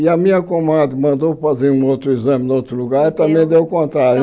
E a minha comadre mandou fazer um outro exame em outro lugar e também deu o contrário.